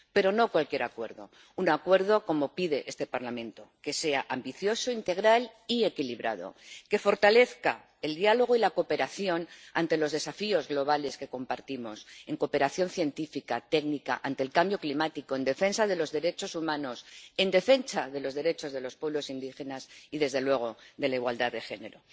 Pero no cualquier acuerdo, un acuerdo como pide este Parlamento, que sea ambicioso, integral y equilibrado, que fortalezca el diálogo y la cooperación ante los desafíos globales que compartimos, en cooperación científica, técnica, ante el cambio climático, en defensa de los derechos humanos, en defensa de los derechos de los pueblos indígenas y, desde luego, de la igualdad de género.